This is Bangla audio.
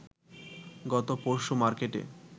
গত পরশু মার্কেটে